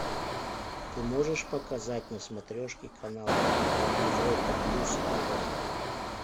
ты можешь показать на смотрешке канал европа плюс тв